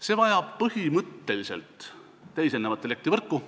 See vajab põhimõtteliselt teisenevat elektrivõrku.